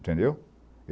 Entendeu?